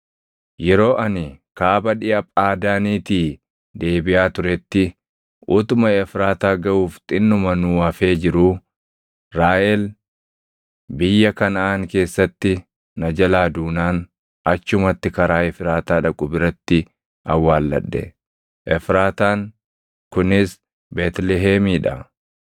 Yeroo ani kaaba dhiʼa Phaadaaniitii deebiʼaa turetti utuma Efraataa gaʼuuf xinnuma nuu hafee jiruu Raahel biyya Kanaʼaan keessatti na jalaa duunaan achumatti karaa Efraataa dhaqu biratti awwaalladhe.” Efraataan kunis Beetlihemii dha.